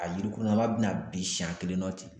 A yirikunlama bɛna bin siɲɛ kelen na ten